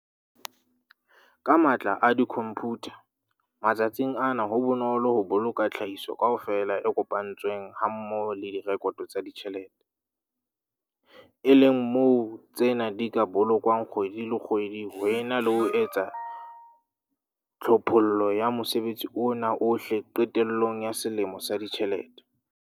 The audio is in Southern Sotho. Ka matla a dikhomphutha matsatsing ana ho bonolo ho boloka tlhahiso kaofela e kopantsweng hammoho le direkoto tsa ditjhelete, e leng moo tsena di ka bolokwang kgwedi le kgwedi ho ena le ho etsa tlhophollo ya mosebetsi ona ohle qetellong ya selemo sa ditjhelete.